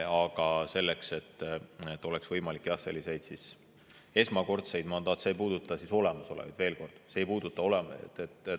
Aga see on selleks, et see oleks võimalik, jah, sellisel esmakordsel, see ei puuduta olemasolevaid, veel kord, see ei puuduta neid.